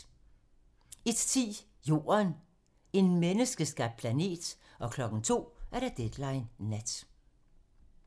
01:10: Jorden - en menneskeskabt planet 02:00: Deadline nat